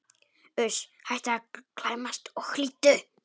Uss, hættu að klæmast og hlýddu!